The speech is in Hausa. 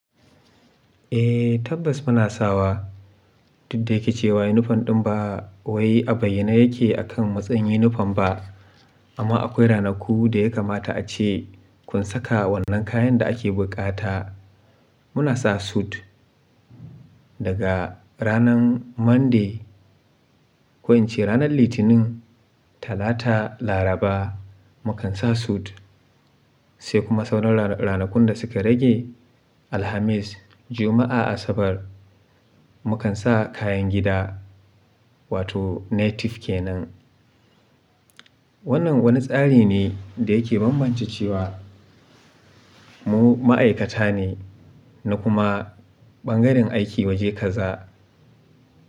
Eh tabbas muna sawa duk da yake cewa uniform din ba ɓoyayye a bayyane yake akan matsayin uniform ba amma akwai ranaku da ya kamata ace kun saka wannan kayan da ake buƙata. Muna sa suit daga ranan Monday ko in ce ranar Litinin, Talata, Laraba mukan sa suit se kuma sauran ranakun da suka rage alhamis, juma'a asabar mu kan sa kayan gida wato native kenan. Wannan wani tsari ne da yake bambance cewa mu ma'aikata ne na kuma bangaren aiki waje kaza.